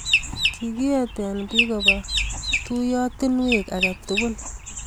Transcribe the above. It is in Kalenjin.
kikiete biik koba tuyiotinwek age tugul